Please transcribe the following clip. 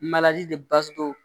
de